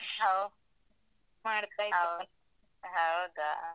ಹೋ. ಹೌದಾ?